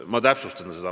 Ma täpsustan seda.